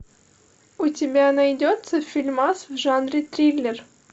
у тебя найдется фильмас в жанре триллер